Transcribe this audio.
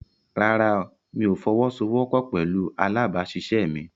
Rárá, mi ò fọwọ́sowọ́pọ̀ pẹ̀lú alábàáṣiṣẹ́ mi.